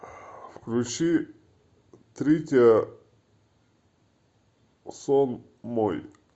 включи тритиа сон мой